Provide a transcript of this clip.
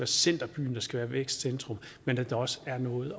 centerbyen der skal være vækstcentrum men at der også er noget